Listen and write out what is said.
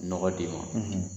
Nɔgɔ d'i ma